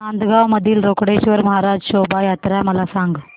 नांदगाव मधील रोकडेश्वर महाराज शोभा यात्रा मला सांग